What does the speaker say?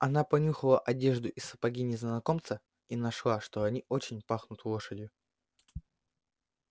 она понюхала одежду и сапоги незнакомца и нашла что они очень пахнут лошадью